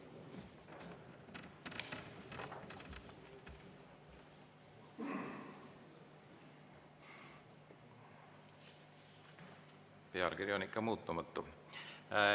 Pealkiri on ikka muutumatu.